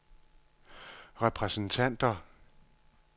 repræsentanter